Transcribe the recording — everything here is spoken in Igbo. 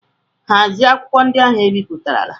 Hazie akwụkwọ ndị ahụ e bipụtarala!